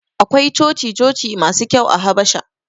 Akwai coci-coci masu kyau a Habasha.